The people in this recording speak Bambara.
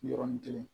Yɔrɔnin kelen